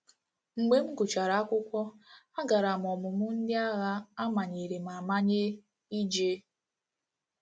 Mgbe m gụchara akwụkwọ, a gara m ọmụmụ ndị ághá a manyere m amanye ije.